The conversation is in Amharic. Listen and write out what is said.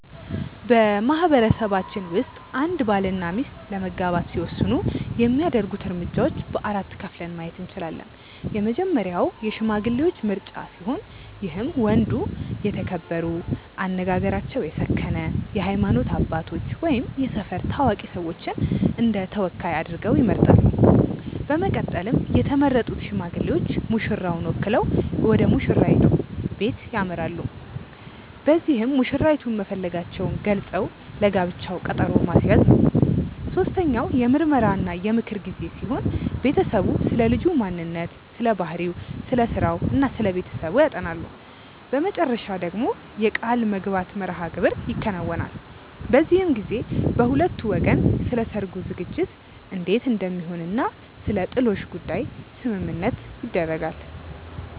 በማህበረሰባችን ውስጥ አንድ ባል እና ሚስት ለመጋባት ሲወስኑ የሚያደርጉት እርምጃዎች በ4 ከፍለን ማየት እንችላለን። የመጀመሪያው የሽማግሌዎች ምርጫ ሲሆን ይህም ወንዱ የተከበሩ፣ አነጋገራቸው የሰከነ የሃይማኖት አባቶች ወይም የሰፈር ታዋቂ ሰዎችን እንደተወካይ አድርገው ይመርጣሉ። በመቀጠልም የተመረጡት ሽማግሌዎች ሙሽራን ወክለው ወደሙሽራይቱ በለት ያመራሉ። በዚህም መሽራይቱን መፈለጋቸውን ገልፀው ለጋብቻው ቀጠሮ ማስያዝ ነው። ሶስተኛው የምርመራ እና የምክር ጊዜ ሲሆን ቤተሰቡ ስለልጁ ማንነት ስለባህሪው፣ ስለስራው እና ስለቤተሰቡ ያጠናሉ። በመጨረሻ ደግሞ የቃልምግባት መርሐግብር ይከናወናል። በዚህም ጊዜ በሁለቱ ወገን ስለሰርጉ ዝግጅት እንዴት እንደሚሆን እና ስለጥሎሽ ጉዳይ ስምምነት ይደረጋል።